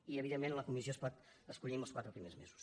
i evidentment la comissió es pot escollir en els quatre primers mesos